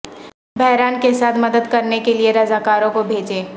بحران کے ساتھ مدد کرنے کے لئے رضاکاروں کو بھیجیں